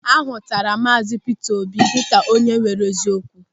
A hụtara Maazi Pita Obi dịka onye nwere eziokwu.